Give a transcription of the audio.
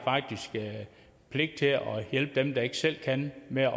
pligt til at hjælpe dem der ikke selv kan med at